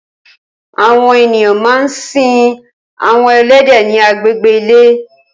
Awọn éniyàn mà n sin awọn ẹlẹdẹ ni àgbégbé ilé